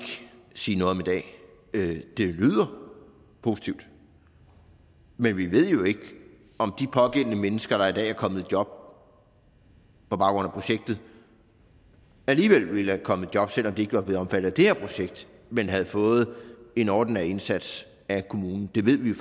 sige noget om i dag det det lyder positivt men vi ved jo ikke om de pågældende mennesker der i dag er kommet i job på baggrund af projektet alligevel ville være kommet i job selv om de ikke var blevet omfattet af det her projekt men havde fået en ordinær indsats af kommunen det ved vi